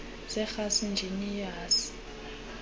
zerhasi injini yerhasi